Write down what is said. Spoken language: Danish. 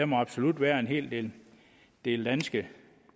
må absolut være en hele del danske